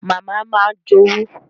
Màmá máa ń jowú